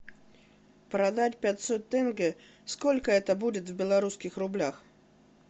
продать пятьсот тенге сколько это будет в белорусских рублях